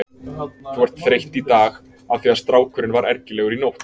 Þú ert þreytt í dag af því að strákurinn var ergilegur í nótt.